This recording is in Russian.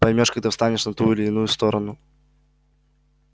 поймёшь когда встанешь на ту или иную сторону